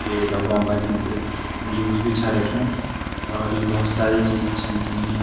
ये डबों का निस जूस भी छा रख्युं और यु भोत सारी चीज छन टंगी यख।